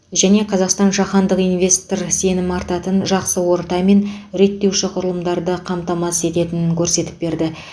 және қазақстан жаһандық инвестор сенім артатын жақсы орта мен реттеуші құрылымды қамтамасыз ететінің көрсетіп берді